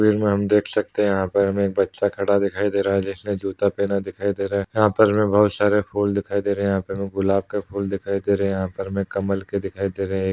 तस्वीर में हम देख सकते हैं यहाँ पर हमें एक बच्चा खड़ा दिखाई दे रहा है जिसने जूता पहना दिखाई दे रहा है यहाँ पर हमें बहुत सारे फूल दिखाई दे रहे हैं यहाँ पर हमें गुलाब का फूल दिखाई दे रहा है यहाँ पर हमें कमल के दिखाई दे रहे हैं। एक --